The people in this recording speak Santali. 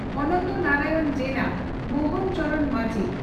ᱚᱱᱚᱱᱛᱚ ᱱᱟᱨᱟᱭᱚᱬ ᱡᱮᱱᱟ ᱢᱚᱦᱚᱱ ᱪᱚᱨᱚᱬ ᱢᱟᱹᱡᱷᱤ